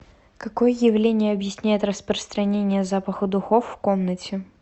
какое явление объясняет распространение запаха духов в комнате